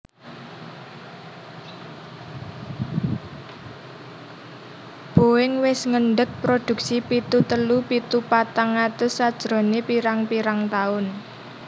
Boeing wis ngendeg produksi pitu telu pitu patang atus sajrone pirang pirang tahun